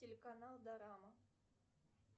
телеканал дорама